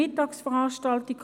Ich erinnere daran: